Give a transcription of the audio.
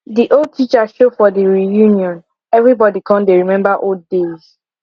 de old teacher show for the reunion everybody come dey remember old days